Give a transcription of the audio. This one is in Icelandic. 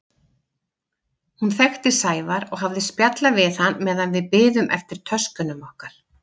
Hún þekkti Sævar og hafði spjallað við hann meðan við biðum eftir töskunum okkar.